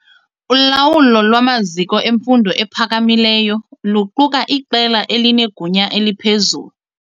Ulawulo lwamaziko emfundo ephakamileyo luquka iqela elinegunya eliphezulu.